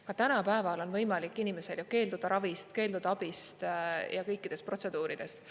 Ka tänapäeval on võimalik inimesel ju keelduda ravist, keelduda abist ja kõikidest protseduuridest.